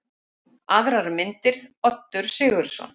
Aðrar myndir: Oddur Sigurðsson.